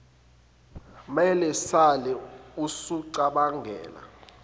mela sale usucabangela